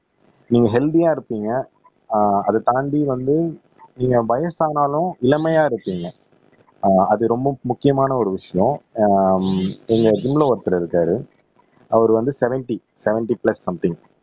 நீங்க ஹெல்த்தியா இருப்பீங்க ஆஹ் அதைத் தாண்டி வந்து நீங்க வயசானாலும் இளமையா இருக்கீங்க ஆஹ் அது ரொம்ப முக்கியமான ஒரு விஷயம் ஆஹ் எங்க ஜிம்ல ஒருத்தர் இருக்காரு அவர் வந்து செவென்ட்டி செவென்ட்டி பிளஸ் சம்திங்